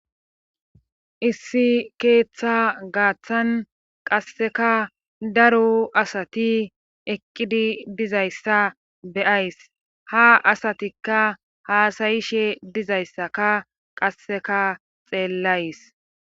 Issi keeththa gaaththan qasseka daro asati eqqidi diza issa beyays. Ha asatikka haasayishe diza issaka qasseka xeellayis.